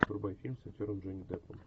врубай фильм с актером джонни деппом